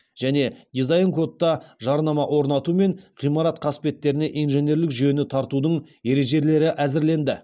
және дизайн кодта жарнама орнату мен ғимарат қасбеттеріне инженерлік жүйені тартудың ережелері әзірленді